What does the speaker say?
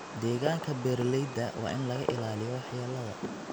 Deegaanka beeralayda waa in laga ilaaliyo waxyeelada.